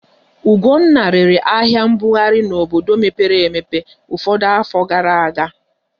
Ugonna rere ahịa mbughari n'obodo mepere emepe ụfọdụ afọ gara aga.